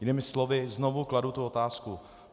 Jinými slovy, znovu kladu tu otázku.